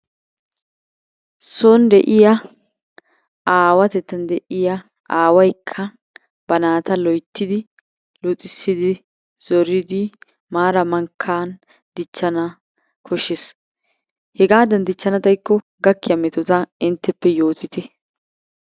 Son de'iya aawatettan de'iya aawaykka ba naata loyttidi luxissidi zoridi maaran mankkan dichchana koshshes. Hegaadan dichchana xaykko gakkiya metota intteppe yootite .